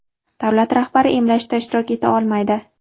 davlat rahbari emlashda ishtirok eta olmaydi.